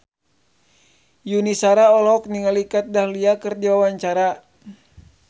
Yuni Shara olohok ningali Kat Dahlia keur diwawancara